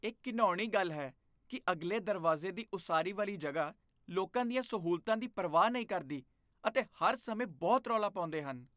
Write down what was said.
ਇਹ ਘਿਣਾਉਣੀ ਗੱਲ ਹੈ ਕਿ ਅਗਲੇ ਦਰਵਾਜ਼ੇ ਦੀ ਉਸਾਰੀ ਵਾਲੀ ਜਗ੍ਹਾ ਲੋਕਾਂ ਦੀਆਂ ਸਹੂਲਤਾਂ ਦੀ ਪਰਵਾਹ ਨਹੀਂ ਕਰਦੀ ਅਤੇ ਹਰ ਸਮੇਂ ਬਹੁਤ ਰੌਲਾ ਪਾਉਂਦੇ ਹਨ।